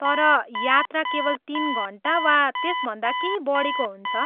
तर, यात्रा केवल तिन घन्टा वा त्यसभन्दा केही बढीको हुन्छ।